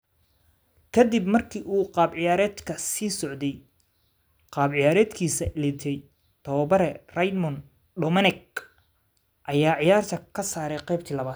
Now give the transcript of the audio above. Ka dib markii uu qaab ciyaareedka sii socday qaab ciyaareedkiisa liitay, tababare Raymond Domenech ayaa ciyaarta ka saaray qeybtii labaad.